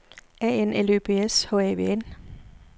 A N L Ø B S H A V N